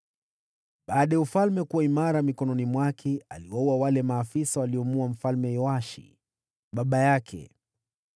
Baada ya ufalme kuimarika mikononi mwake, aliwaua maafisa waliomuua mfalme baba yake.